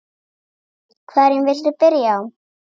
Hverju viltu byrja á?